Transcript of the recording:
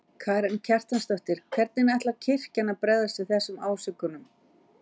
Karen Kjartansdóttir: Hvernig ætlar kirkjan að bregðast við þessum ásökunum?